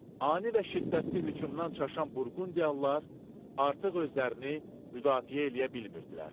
Ani və şiddətli hücumdan çaşan burqundiyalılar artıq özlərini müdafiə eləyə bilmirdilər.